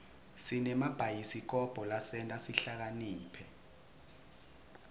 sinemabhayisikobho lasenta sihlakaniphe